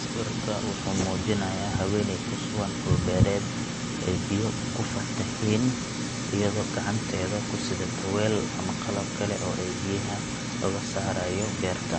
Sawirka wuxuu muujinayaa haweeney ku sugan dhul beereed ay biyo ku fataheen iyadoo gacanteeda ku sidata weel ama qalab kale oo ay biyaha uga saarayo beerta.